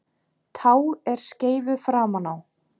Tá er skeifu framan á.